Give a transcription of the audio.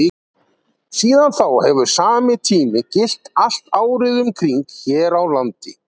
Síðan þá hefur sami tími gilt allt árið um kring hér á landi.